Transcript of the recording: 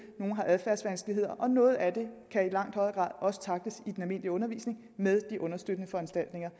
eller adfærdsvanskeligheder noget af det kan i langt højere grad også tackles i den almindelige undervisning med de understøttende foranstaltninger